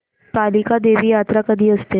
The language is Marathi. कालिका देवी यात्रा कधी असते